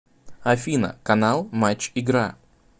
афина канал матч игра